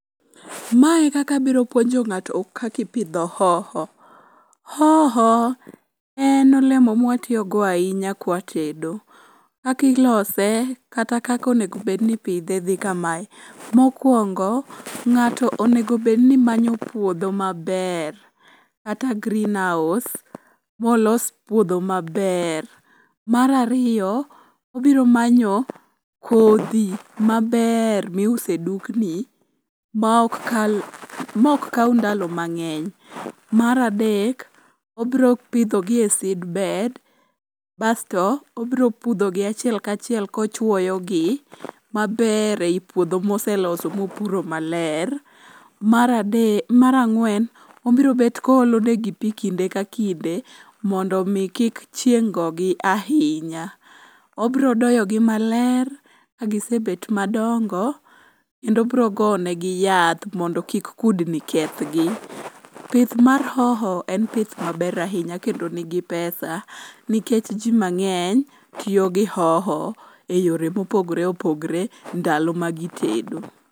Mae e kaka abiro puonjo ng'ato kaka ipidho hoho. Hoho en olemo mwa tiyogo ahinya kwa tedo. Kaka ilose kata kaka onego obed ni ipidhe dhi kamae. Mokwongo, ng'ato onego obed ni manyo puodho maber kata greenhouse molos puodho maber. Mar ariyo, obiro manyo kodhi maber miuse dukni mok kaw ndalo mang'eny. Mar adek, obiro pidho gi e seedbed basto, obro pudhogi achiel kachiel kochuoyo gi maber ei puodho moseloso mopuro maler. Mar ang'wen, obiro bet koolo negi pi kinde ka kinde mondo omi kik chieng' gogi ahinya. Obro doyogi maler kagise bet madongo, kendo obro gonegi yath mondo kik kudni kethgi. Pith mar hoho en pith maber ahinya kendo nigi pesa nikech ji mang'eny tiyo gi hoho e yore mopogore opogore ndalo magitedo.